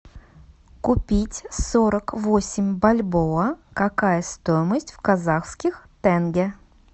купить сорок восемь бальбоа какая стоимость в казахских тенге